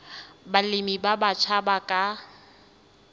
balemi ba batjha ba ka